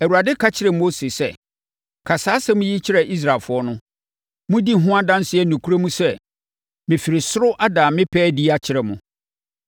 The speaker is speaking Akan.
Awurade ka kyerɛɛ Mose sɛ, “Ka saa asɛm yi kyerɛ Israelfoɔ no. ‘Modi ho adanseɛ nokorɛm sɛ, mefiri soro ada me pɛ adi akyerɛ mo.